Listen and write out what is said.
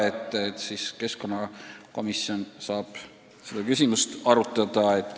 Eks keskkonnakomisjon saab seda arutada.